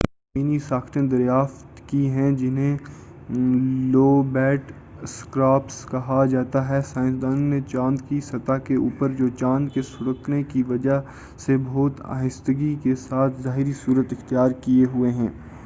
زمینی ساختیں دریافت کی ہیں جنہیں لوبیٹ اسکارپس کہا جاتا ہے سائنسدانوں نے چاند کی سطح کے اوپرجوچاند کے سُکڑنے کی وجہ سے بہت آہستگی کے ساتھ ظاہری صورت اختیار کیے ہوئے ہیں